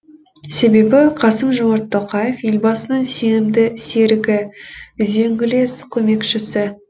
себебі қасым жомарт тоқаев елбасының сенімді серігі үзеңгілес көмекшісі